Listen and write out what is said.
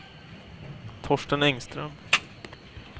Torsten Engström